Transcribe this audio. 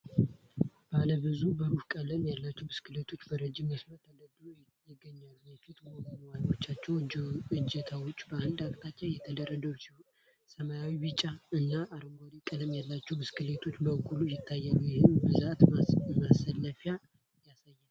ባለ ብዙ ብሩህ ቀለም ያላቸው ብስክሌቶች በረጅም መስመር ተደርድረው ይገኛሉ። የፊት ጎማዎችና እጀታዎች በአንድ አቅጣጫ የተደረደሩ ሲሆኑ ፣ ሰማያዊ ፣ ቢጫ እና አረንጓዴ ቀለም ያላቸው ብስክሌቶች በጉልህ ይታያሉ፤ ይህም ብዛትና መሰለፍን ያሳያል።